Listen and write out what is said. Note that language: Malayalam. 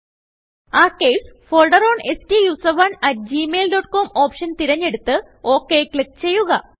ആർക്കൈവ്സ് ഫോൾഡർ ഓൺ സ്റ്റൂസറോണ് അട്ട് gmailcomഓപ്ഷൻ തിരഞ്ഞെടുത്ത് OKക്ലിക്ക് ചെയ്യുക